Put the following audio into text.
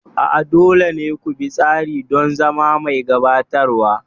A'a, dole ne ku bi tsari don zama mai gabatarwa.